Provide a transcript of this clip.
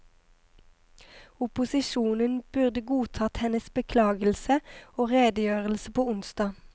Opposisjonen burde godtatt hennes beklagelse og redegjørelse på onsdag.